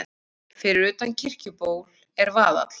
Fyrir utan Kirkjuból er vaðall.